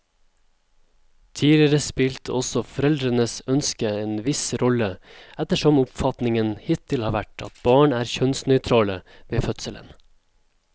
Tidligere spilte også foreldrenes ønske en viss rolle, ettersom oppfatningen hittil har vært at barn er kjønnsnøytrale ved fødselen.